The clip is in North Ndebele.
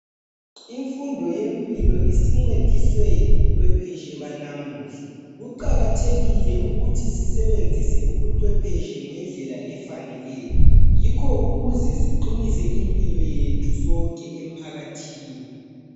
Imfundo yempilo isincediswe yibucwephetshe banamhla. Kuqakathekile ukuthi sisebenzise ubucwephetshe ngendlela efaneleneyo. Yikho ukuze siqinise imphilo yethu sonke emphakathini.